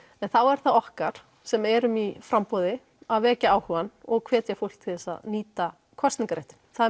en þá er það okkar sem erum í framboði að vekja áhuga og hvetja fólk til þess að nýta kosningaréttinn það